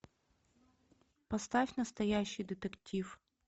поставь настоящий детектив